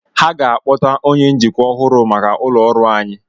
Ha ga-akpọta onye njikwa ọhụrụ maka ụlọ ọrụ anyị.